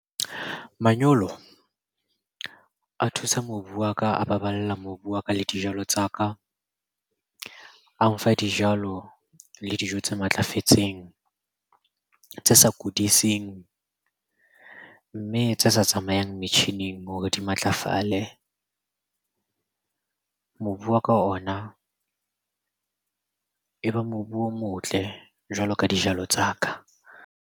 Manyolo a thusa mobu wa ka, a baballa mobu wa ka, le dijalo tsa ka. A mfa dijalo le dijo tse matlafetseng tse sa kudiseng, mme tse sa tsamayang metjhining hore di matlafale. Mobu wa ka ona e be mobu o motle jwalo ka dijalo tsa ka.